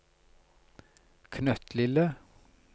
knøttlille